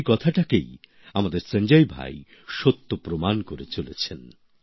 সেই কথাটাকেই আমাদের সঞ্জয় ভাই সত্য প্রমাণ করে চলেছেন